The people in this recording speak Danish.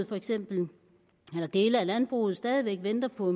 for eksempel dele af landbruget stadig væk venter på